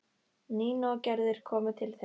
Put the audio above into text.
Nína og Gerður komu til þeirra.